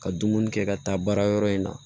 Ka dumuni kɛ ka taa baara yɔrɔ in na